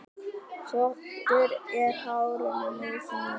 Þvottur er hárinu nauðsynlegur.